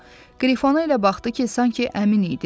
O, Qrifona elə baxdı ki, sanki əmin idi.